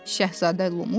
Şahzadə Lumu dedi.